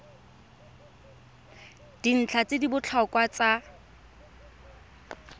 dintlha tse di botlhokwa tsa